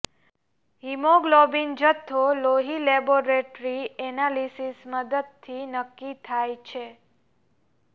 haemoglobin જથ્થો લોહી laboratory analysis મદદથી નક્કી થાય છે